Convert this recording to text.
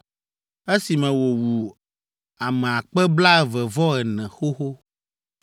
esime wòwu ame akpe blaeve-vɔ-ene (24,000) xoxo.